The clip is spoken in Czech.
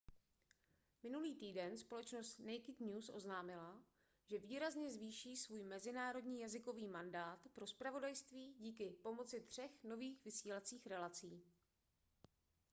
minulý týden společnost naked news oznámila že výrazně zvýší svůj mezinárodní jazykový mandát pro zpravodajství díky pomocí třech nových vysílacích relací